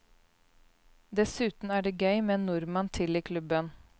Dessuten er det gøy med en nordmann til i klubben.